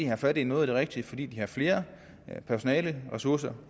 har fat i noget af det rigtige fordi de har flere personaleressourcer